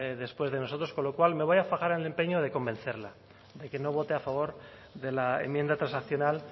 después de nosotros con lo cual me voy a fajar al empeño de convencerla de que no vote a favor de la enmienda transaccional